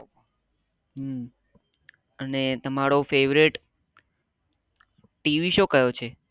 હમ અને તમરો favourite TV show કયો છો